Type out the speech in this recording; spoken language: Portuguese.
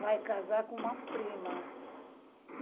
vai casar com uma prima.